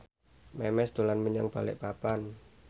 Memes dolan menyang Balikpapan